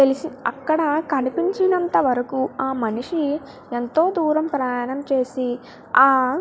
తెలిసి అక్కడ కనిపించినంత వరకు ఆ మనిషి ఎంతో దూరం ప్రయాణం చేసి ఆ --